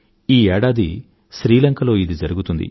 ఈ ఏడాది శ్రీ లంకలో ఇది జరిగుతుంది